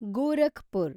Gorakhpur